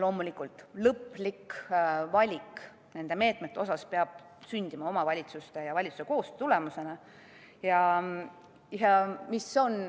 Loomulikult, nende meetmete lõplik valik peab sündima omavalitsuste ja valitsuse koostöö tulemusena.